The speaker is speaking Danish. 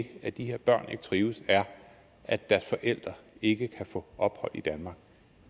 at de her børn ikke trives er at deres forældre ikke kan få ophold i danmark